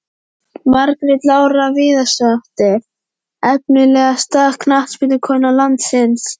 Margrét Lára Viðarsdóttir Efnilegasta knattspyrnukona landsins?